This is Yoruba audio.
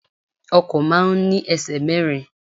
Ọkọ̀ máa ń ní ẹsẹ̀ mẹ́rin.